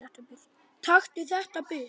Taktu þetta burt!